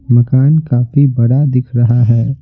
मकान काफी बड़ा दिख रहा है।